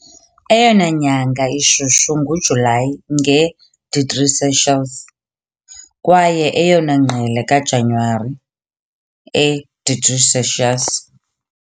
Eyona nyanga ishushu nguJulayi, nge degrees Celsius, kwaye eyona ngqele kaJanuwari, e degrees Celsius.